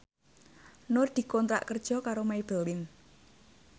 Nur dikontrak kerja karo Maybelline